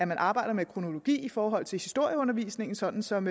man arbejder med kronologi i forhold til historieundervisningen sådan som